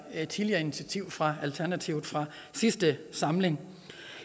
et tidligere initiativ fra alternativet fra sidste samling